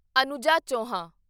Anuja Chauhan